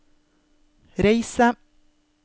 reise